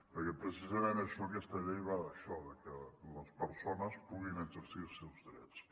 perquè precisament aquesta llei va d’això de que les persones puguin exercir els seus drets